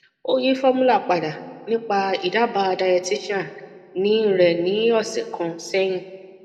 o yi formula pada nipa idaaba dietitian ni re ni ose kan sehin